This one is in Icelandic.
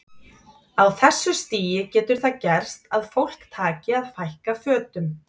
Á þessu stigi getur það gerst að fólk taki að fækka fötum.